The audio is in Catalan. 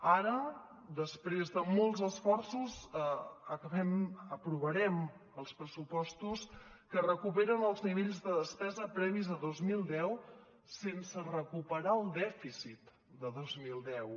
ara després de molts esforços aprovarem els pressupostos que recuperen els nivells de despesa previs a dos mil deu sense recuperar el dèficit de dos mil deu